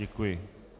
Děkuji.